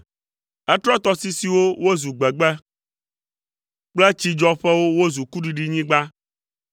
Etrɔ tɔsisiwo wozu gbegbe kple tsidzɔƒewo wozu kuɖiɖinyigba,